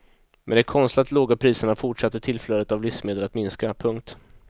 Med de konstlat låga priserna fortsatte tillflödet av livsmedel att minska. punkt